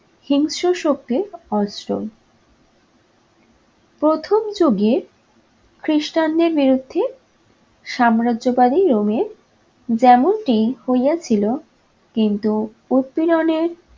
হিংস্র শক্তি অস্ত্র। প্রথম যুগের খ্রিস্টানদের বিরুদ্ধে সাম্রাজ্যবাদী rome এ যেমনটি হইয়াছিল কিন্তু উৎপিরনে